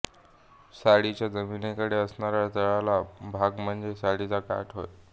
साडीचा जमिनीकडे असणारा तळाचा भाग म्हणजे साडीचा काठ होय